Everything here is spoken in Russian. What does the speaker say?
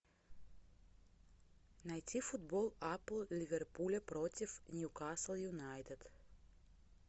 найти футбол апл ливерпуля против ньюкасл юнайтед